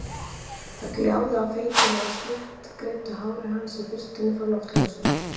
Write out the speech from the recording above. Það gljáði á feitina í sléttgreiddu hári hans í birtunni frá loftljósinu.